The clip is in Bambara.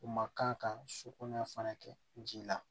U ma kan ka sukolon fana kɛ ji la